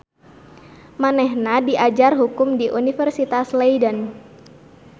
Manehna diajar hukum di Universitas Leiden.